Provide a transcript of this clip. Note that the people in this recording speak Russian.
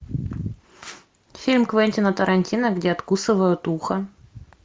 фильм квентина тарантино где откусывают ухо